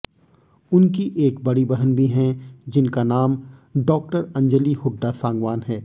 उनकी एक बड़ी बहन भी हैं जिनका नाम डॉ अंजली हुड्डा सांगवान है